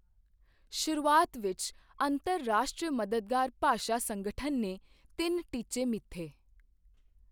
ਸ਼ੁਰੂਆਤ ਵਿੱਚ ਅੰਤਰ ਰਾਸ਼ਟਰੀ ਮਦਦਗਾਰ ਭਾਸ਼ਾ ਸੰਗਠਨ ਨੇ ਤਿੰਨ ਟੀਚੇ ਮਿੱਥੇਃ